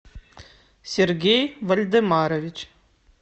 сергей вольдемарович